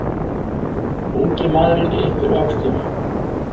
Ungi maðurinn ypptir öxlum.